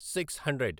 six hundred